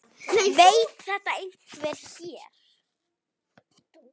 Veit þetta einhver hér?